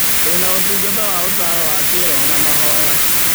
Tũrĩ na ũtungata waũtaaro wa kĩroho na mahoya.